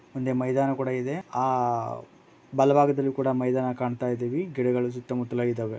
ಒಂದು ಮೈದಾನ ಕೂಡ ಇದೆ ಆ ಕೂಡ ಮೈದಾನ ಕಾಣ್ತಾ ಇದೀವಿ ಗಿಡಗಳು ಸುತ್ತ ಮುತ್ತಲು ಇದಾವೆ.